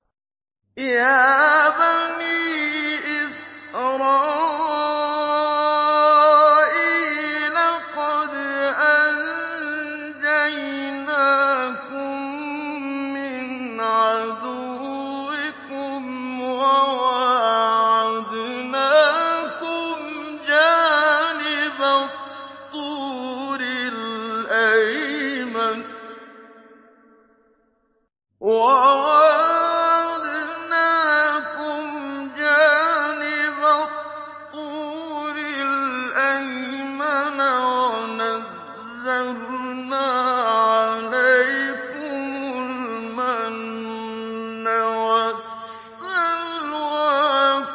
يَا بَنِي إِسْرَائِيلَ قَدْ أَنجَيْنَاكُم مِّنْ عَدُوِّكُمْ وَوَاعَدْنَاكُمْ جَانِبَ الطُّورِ الْأَيْمَنَ وَنَزَّلْنَا عَلَيْكُمُ الْمَنَّ وَالسَّلْوَىٰ